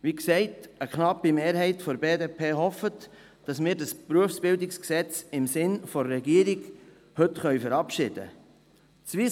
Wie gesagt, eine knappe Mehrheit hofft, dass Sie dieses BerG im Sinne der Regierung verabschieden können.